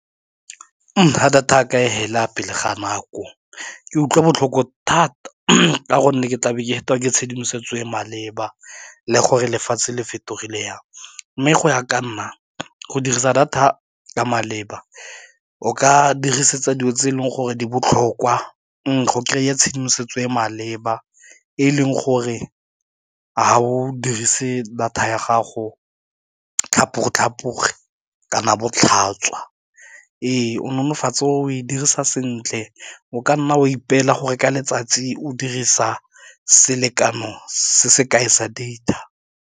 Ga data jaaka e fela pele ga nako ke utlwa botlhoko thata ka gonne ke tlabe ke fetiwa ke tshedimosetso e e maleba le gore lefatshe le fetogile yang, mme go ya ka nna, go dirisa data ka maleba o ka dirisetsa dilo tse e leng gore di botlhokwa go kry-a tshedimosetso e e maleba e leng gore ga o dirise data ya gago go tlhapoge kana bo tlhatswa, o nolofatsa o e dirisa sentle o ka nna o ipela go reka letsatsi o dirisa selekano se se kae sa data.